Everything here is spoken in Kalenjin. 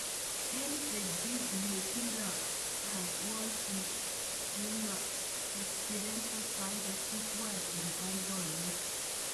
Eng benjit, nitindet ab Wolves Nuno Espirito Santo kitwal eng boiboiyet.